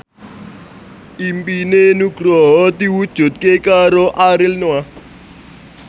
impine Nugroho diwujudke karo Ariel Noah